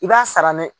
I b'a sara dɛ